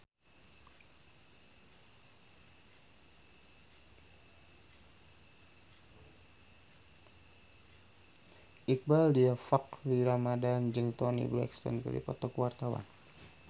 Iqbaal Dhiafakhri Ramadhan jeung Toni Brexton keur dipoto ku wartawan